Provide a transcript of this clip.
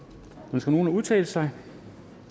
ønsker nogen at udtale sig